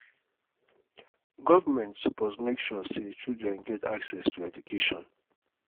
government suppose make sure sey children get access to education.